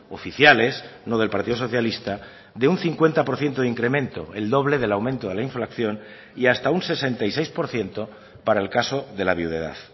oficiales no del partido socialista de un cincuenta por ciento de incremento el doble del aumento de la inflación y hasta un sesenta y seis por ciento para el caso de la viudedad